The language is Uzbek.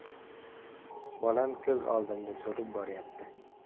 Bolam ko‘z oldimda so‘lib boryapti.